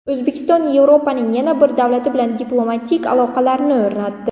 O‘zbekiston Yevropaning yana bir davlati bilan diplomatik aloqalar o‘rnatdi.